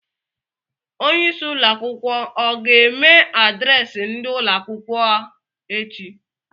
Onye isi ụlọ akwụkwọ ọ ga-eme adreesị ndị ụlọ akwụkwọ eachi?